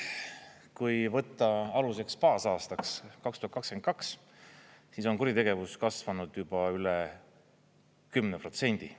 Kui võtta aluseks, baasaastaks 2022, siis on kuritegevus kasvanud juba üle 10%.